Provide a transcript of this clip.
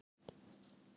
Jú, svei mér þá.